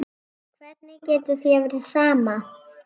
Hvernig getur þér verið sama?